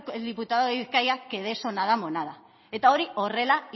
el diputado de bizkaia que de eso nada monada eta hori horrela